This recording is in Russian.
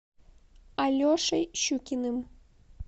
алешей щукиным